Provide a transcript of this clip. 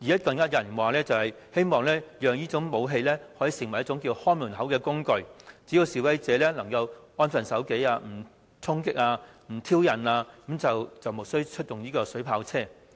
更有人說希望讓這種武器當作一種"看門口"的工具，只要示威者能安分守紀，不衝擊、不挑釁警方，便無須出動水炮車。